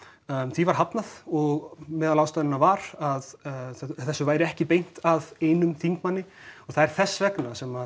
því var hafnað og meðal ástæðna var að þessu væri ekki beint að einum þingmanni og það er þess vegna sem